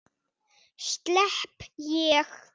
Slepp ég?